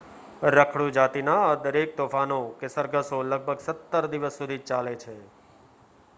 રખડુ જાતિના આ દરેક તોફાનો કે સરઘસો લગભગ 17 દિવસ સુધી ચાલે છે